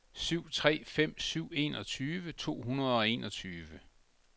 syv tre fem syv enogtyve to hundrede og enogtyve